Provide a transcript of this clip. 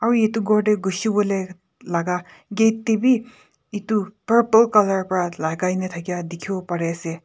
bi edu ghor tae ghushiwolae laka gate tae bi edu purple colour pra lakai na thaka dikhiwo parease.